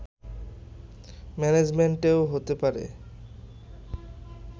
ম্যানেজমেন্টেও হতে পারে